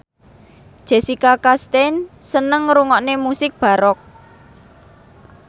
Jessica Chastain seneng ngrungokne musik baroque